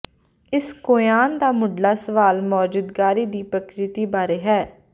ਇਸ ਕੋਆਨ ਦਾ ਮੁੱਢਲਾ ਸਵਾਲ ਮੌਜੂਦਗੀ ਦੀ ਪ੍ਰਕਿਰਤੀ ਬਾਰੇ ਹੈ